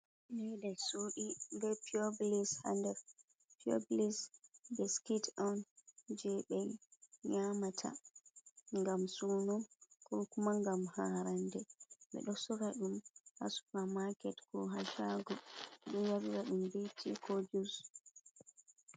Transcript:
Ndaa nder suuɗi bee pureblis haa nder, purblis bee biskit on jey ɓe nyaamata ngam suuno, koo kuma ngam haarannde, ɓe ɗo sora ɗum haa sufa maaket koo haa saago ɗo yarira ɗum bee tii koo juus.